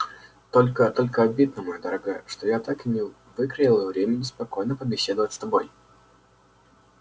только только обидно моя дорогая что я так и не выкроила времени спокойно побеседовать с тобой